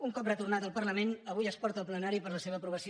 un cop retornat al parlament avui es porta al plenari per a la seva aprovació